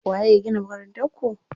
Waye ya gina Makarantar ku?